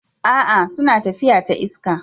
A'a! suna tafiya ta iska.